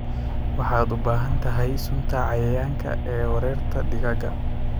Waxaad u baahan tahay sunta cayayaanka ee weerarta digaagga.